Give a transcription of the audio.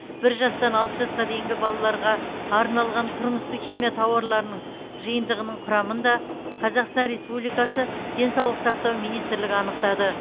бір жастан алты жасқа дейінгі балаларға арналған тұрмыстық химия тауарларының жиынтығының құрамын да қазақстан республикасы денсаулық сақтау министрлігі анықтады